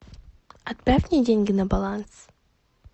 отправь мне деньги на баланс